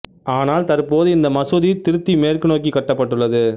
ஆனால் தற்போது இந்த மசூதி திருத்தி மேற்கு நோக்கிக் கட்டப்பட்டுள்ளது